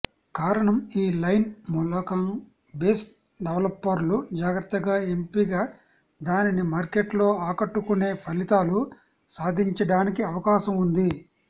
కారణం ఈ లైన్ మూలకం బేస్ డెవలపర్లు జాగ్రత్తగా ఎంపిక దానిని మార్కెట్లో ఆకట్టుకునే ఫలితాలు సాధించడానికి అవకాశం ఉంది